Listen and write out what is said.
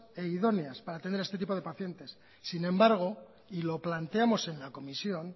e idóneas para atender a este tipo de pacientes sin embargo y lo planteamos en la comisión